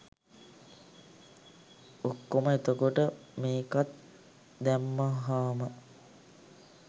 ඔක්කොම එතකොට මේකත් දැම්මහාම